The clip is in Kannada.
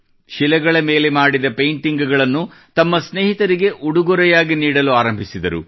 ಶಿಲೆಗಳ ಮೇಲೆ ಮಾಡಿದ ಪೇಂಟಿಂಗ್ ಗಳನ್ನು ತಮ್ಮ ಸ್ನೇಹಿತರಿಗೆ ಉಡುಗೊರೆ ನೀಡಲು ಆರಂಭಿಸಿದರು